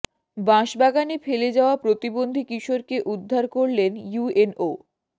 বাঁশ বাগানে ফেলে যাওয়া প্রতিবন্ধী কিশোরকে উদ্ধার করলেন ইউএনও